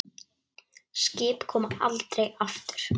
Skip koma aldrei aftur.